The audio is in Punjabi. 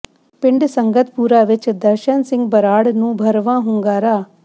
ਪਿੰਡ ਸੰਗਤਪੁਰਾ ਵਿਚ ਦਰਸ਼ਨ ਸਿੰਘ ਬਰਾੜ ਨੂੰ ਭਰਵਾਂ ਹੁੰਗਾਰਾ